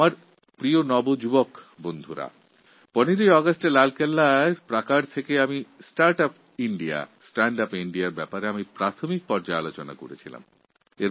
আমার প্রিয় যুববন্ধুরা গত ১৫ই অগাস্ট লালকেল্লা থেকে আমি start UP India stand UP India বিষয়ে এক প্রারম্ভিক বক্তব্য রেখেছিলাম